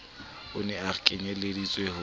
e ne e kenyelleditswe ho